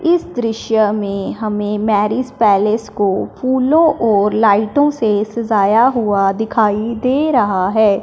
इस दृश्य में हमें मैरिज पैलेस को फूलों और लाइटों से सजाया हुआ दिखाई दे रहा हैं।